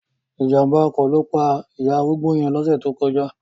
Ìjàmbá ọkọ̀ ló pa ìyá arúgbó yẹn lóṣẹ̀ tó kọjá.